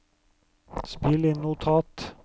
spill inn notat